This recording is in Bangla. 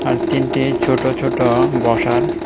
আর তিনটে ছোট ছোট বসার।